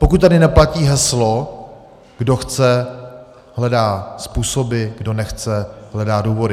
Pokud tady neplatí heslo kdo chce, hledá způsoby, kdo nechce, hledá důvody.